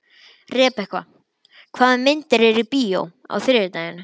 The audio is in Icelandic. Rebekka, hvaða myndir eru í bíó á þriðjudaginn?